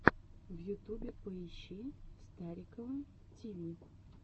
в ютубе поищи старикова ти ви